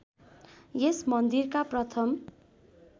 यस मन्दिरका प्रथम